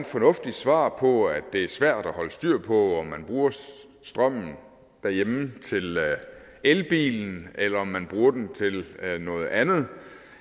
fornuftigt svar på at det er svært at holde styr på om man bruger strømmen derhjemme til elbilen eller om man bruger den til noget andet